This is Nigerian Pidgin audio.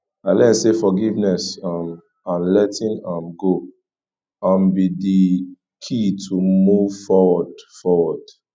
i learn say forgiveness um and letting um go um be di key to move forward forward